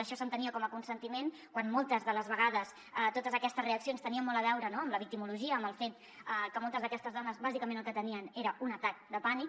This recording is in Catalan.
això s’entenia com a consentiment quan moltes de les vegades totes aquestes reaccions tenien molt a veure amb la victimologia amb el fet que moltes d’aquestes dones bàsicament el que tenien era un atac de pànic